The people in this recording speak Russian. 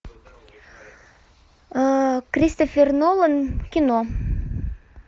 кристофер нолан кино